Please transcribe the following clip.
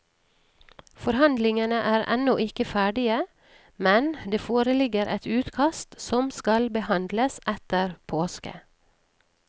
Forhandlingene er ennå ikke ferdige, men det foreligger et utkast som skal behandles etter påske.